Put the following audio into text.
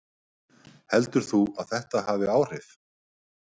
Heldur þú að þetta hafi áhrif?